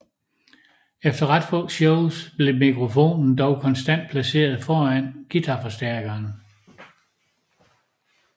Efter ret få shows blev mikrofonen dog konstant placeret foran guitarforstærkeren